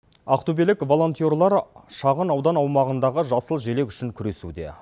ақтөбелік волонтерлар шағын аудан аумағындағы жасыл желек үшін күресуде